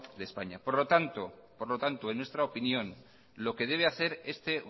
de españa por lo tanto en nuestra opinión lo que debe hacer este